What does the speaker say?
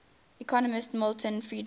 economist milton friedman